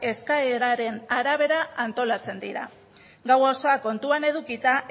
eskaeraren arabera antolatzen dira gau osoa kontuan edukita